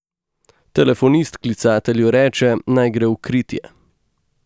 Telefonist klicatelju reče, naj gre v kritje.